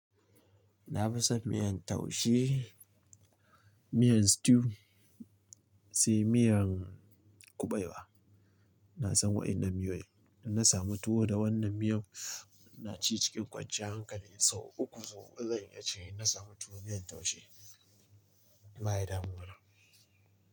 Na fi son miyan taushe, miyan stew sai miyan kuɓewa. Na san waɗannan miyoyi, idan na samu tuwo da wannan miyan na ci cikin kwanciya hankali sau uku zuwa uku. Zan iya ce in na samu tuwo miyan taushe ba ya damuwa.